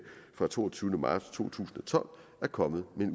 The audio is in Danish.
fra den toogtyvende marts to tusind og tolv er kommet med